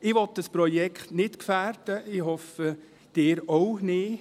Ich will dieses Projekt nicht gefährden – ich hoffe, Sie auch nicht.